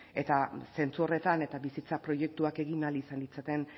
eta zentzu horretan eta bizitza proiektuak egin ahal izan ditzaten